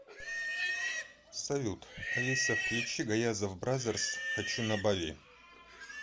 салют алиса включи гаязов бразерс хочу на бали